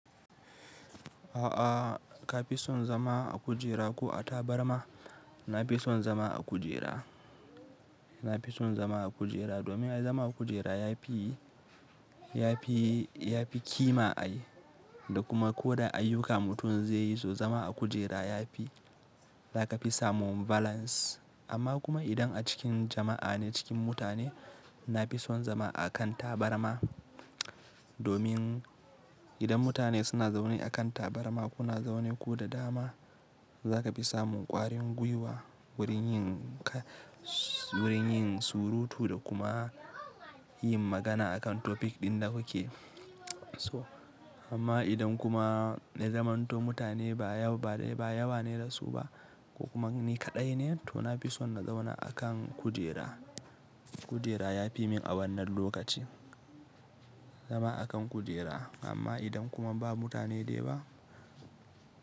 A'a ka fi son zama a kujera ko a tabarma? Na fi son zama a kujera, na fi son zama a kujera domin zama a kujera ya fi, ya fi, ya fi kima ai da kuma ko da ayyuka mutum zai yi zo zama a kujera ya fi za ka fi samun balance. Amma kuma idan a cikin jama'a ne cikin mutane na fi son zama a kan tabarma domin idan mutane suna zaune a kan tabarma kuna zaune ku da dama za ka fi samun kwarin gwiwa wurin yin ka, wurin yin surutu da kuma yin magana akan topic ɗin da kuke so. Amma idan kuma na zamanto mutane ba yau ba dai ba yawa ne da su ba ko kuma ni kaɗai ne to na fi son na zauna a kan kujera. Kujera ya fi min a wannan nan lokaci zama a kan kujera amma idan kuma ba mutane da yawa.